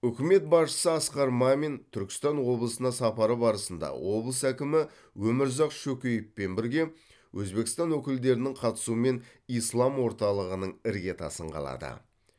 үкімет басшысы асқар мамин түркістан облысына сапары барысында облыс әкімі өмірзақ шөкеевпен бірге өзбекстан өкілдерінің қатысуымен ислам орталығының іргетасын қалады